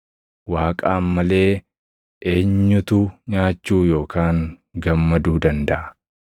Waaqaan malee eenyutu nyaachuu yookaan gammaduu dandaʼa?